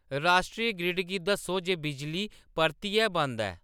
राश्ट्री ग्रिड गी दस्सो जे बिजली परतियै बंद ऐ